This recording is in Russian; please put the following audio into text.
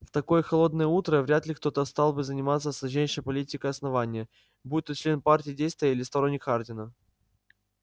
в такое холодное утро вряд ли кто-то стал бы заниматься сложнейшей политикой основания будь то член партии действия или сторонник хардина